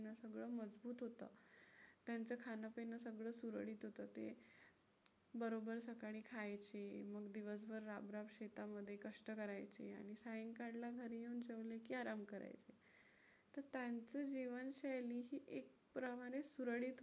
तर ते बरोबर सकाळी खायचे मग दिवसभर राबराब शेतामध्ये कष्ट करायचे आणि सायंकाळला घरी येऊन जेवले की आराम करायचे. आता त्यांचं जीवनशैली ही एक प्रमाणे सुरळीत होतं.